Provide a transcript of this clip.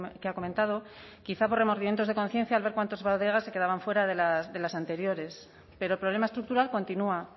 que ha comentado quizá por remordimientos de conciencia al ver cuántas bodegas se quedaban fuera de las anteriores pero el problema estructural continúa